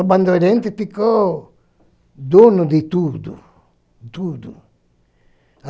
A Bandeirantes ficou dono de tudo, tudo.